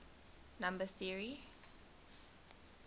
number theory